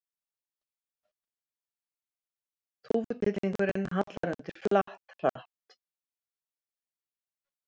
Þúfutittlingurinn hallar undir flatt, hratt.